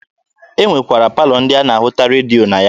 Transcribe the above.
E nwekwara palọ ndị a na-ahụta redio na ya.